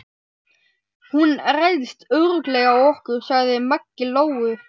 Hún ræðst örugglega á okkur, sagði Maggi Lóu.